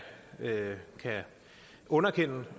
underkende